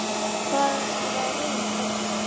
Hvaða raus er þetta?